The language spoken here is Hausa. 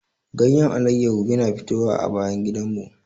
Ganyen alayyahu yana fitowa a bayan gidanmu.